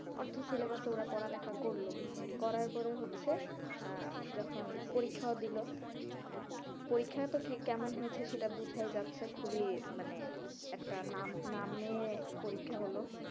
অর্ধ syllabus এ ওরা পড়ালেখা করলো, করার পরে হচ্ছে আহ যখন পরীক্ষাও দিলো পরীক্ষায়তো কেমন হয়েছে বোঝাই যাচ্ছে খুবই মানে একটা নামে পরীক্ষা হলো,